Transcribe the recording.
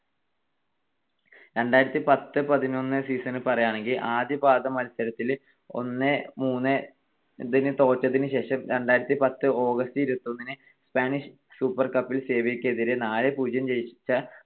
രണ്ടായിരത്തിപത്ത് - രണ്ടായിരത്തിപതിനൊന്ന് season ൽ പറയാണെങ്കിൽ ആദ്യ പാദ മത്സരത്തിൽ ഒന്ന് - മൂന്ന് ന് തോറ്റതിനുശേഷം രണ്ടായിരത്തിപത്ത് August ഇരുപത്തിയൊന്നിന് സ്പാനിഷ് സൂപ്പർ കപ്പിൽ സെവിയ്യക്കെതിരെ നാല് - പൂജ്യം ജയിച്ച